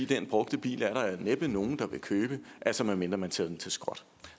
den brugte bil er der næppe nogen der vil købe altså medmindre man sender den til skrotning